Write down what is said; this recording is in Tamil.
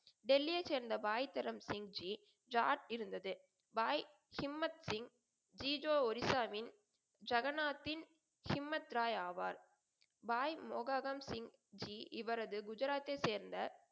டெல்லியை சேர்ந்த பாய் தரம்சிங்ஜி ஜார்த் இருந்தது. பாய் இம்மத் சிங் ஜிஜோ, ஒரிசாவின் ஜெகநாதின் இம்மத்ராய் ஆவார். பாய் மோஹஹன் சிங் ஜி, இவரது குஜராத்தை சேர்ந்த